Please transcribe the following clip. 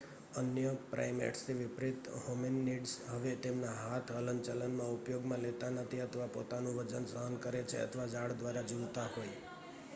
અન્ય પ્રાઈમેટ્સથી વિપરીત હોમિનીડ્સ હવે તેમના હાથ હલનચલનમાં ઉપયોગમાં લેતા નથી અથવા પોતાનું વજન સહન કરે છે અથવા ઝાડ દ્વારા ઝૂલતા હોય